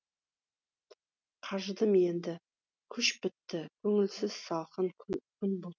қажыдым енді күш бітті көңілсіз салқын күн бұлт